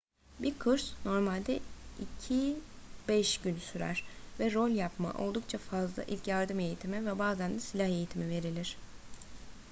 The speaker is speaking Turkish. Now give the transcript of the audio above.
bir kurs normalde 2-5 gün sürer ve rol yapma oldukça fazla ilk yardım eğitimi ve bazen de silah eğitimi verilir